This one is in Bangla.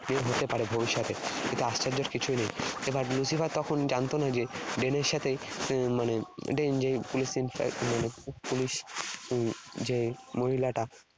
মেয়ে হতে পারে ভবিষ্যতে। এতে আশ্চর্যের কিছু নেই। এবার Lucifer তখন জানত না যে Dane এর সাথে উম মানে Dane যে police মানে উম police যে মহিলাটা